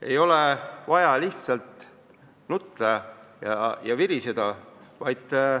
Ei ole vaja nutta ja viriseda.